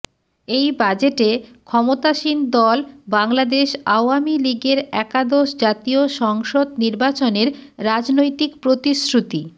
এই বাজেটে ক্ষমতাসীন দল বাংলাদেশ আওয়ামী লীগের একাদশ জাতীয় সংসদ নির্বাচনের রাজনৈতিক প্রতিশ্রুতি